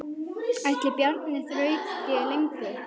Ætli Bjarni þrauki lengur?